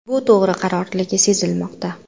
Bu to‘g‘ri qarorligi sezilmoqda.